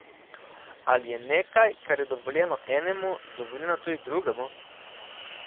Ali je nekaj, kar je dovoljeno enemu, dovoljeno tudi drugemu?